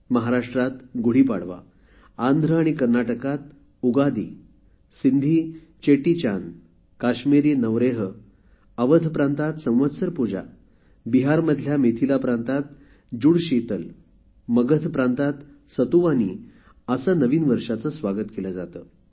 महाराष्ट्रात गुढीपाडवा आंध्र आणि कर्नाटकात उगादी सिन्धी चेटीचान्द कश्मीरी नवरेह अवध प्रांतात संवत्सर पूजा बिहारमधल्या मिथिला प्रांतात जुडशीतल मगध प्रांतात सतुवानी असे नवीन वर्षाचे स्वागत केले जाते